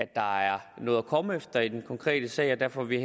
der er noget at komme efter i den konkrete sag og derfor vil